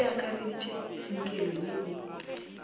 se akareditpe tsinkelo ye e